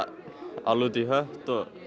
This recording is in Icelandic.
alveg út í hött